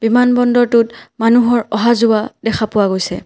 বিমান বন্দৰটো মানুহৰ অহা যোৱা দেখা পোৱা গৈছে।